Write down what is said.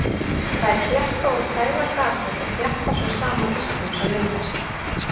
Þær þétta og kæla gasið og þjappa svo saman ísnum sem myndast.